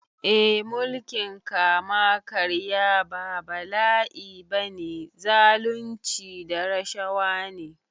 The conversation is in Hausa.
Eh mulkin kama karya ba bala’i ba ne, zalunci da rashawa ne.